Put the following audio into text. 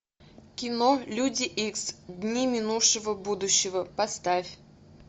кино люди икс дни минувшего будущего поставь